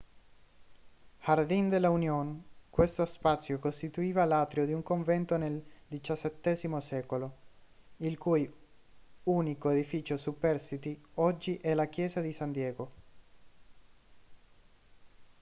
jardín de la unión. questo spazio costituiva l'atrio di un convento del xvii secolo il cui unico edificio superstite oggi è la chiesa di san diego